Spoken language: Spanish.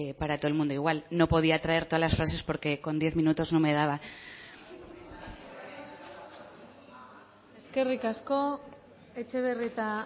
para todo el mundo igual no podía traer todas las frases porque con diez minutos no me daba eskerrik asko etxebarrieta